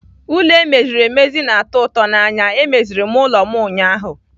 Ụlọ e meziri emezi na-atọ ụtọ n'anya. E meziri m ụlọ m ụnyaahụ.